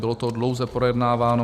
Bylo to dlouze projednáváno.